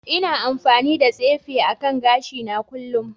Ina amfani da tsefe akan gashina kullun